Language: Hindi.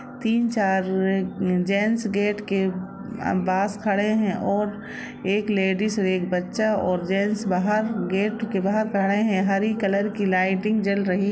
तीन चार जेंट्स गेट के पास खड़े है और एक लेडिस एक बच्चा और जेन्ट्स बहार गेट के बहार खड़े है हरी कलर की लाइटिंग जल रही--